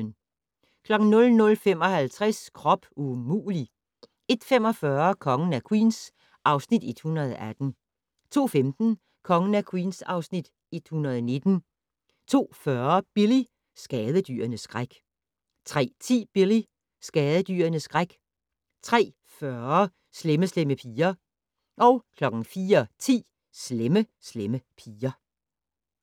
00:55: Krop umulig! 01:45: Kongen af Queens (Afs. 118) 02:15: Kongen af Queens (Afs. 119) 02:40: Billy - skadedyrenes skræk 03:10: Billy - skadedyrenes skræk 03:40: Slemme Slemme Piger 04:10: Slemme Slemme Piger